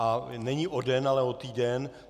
A není o den, ale o týden.